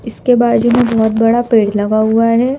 इस के बाजू में बहुत बड़ा पेड़ लगा हुआ है।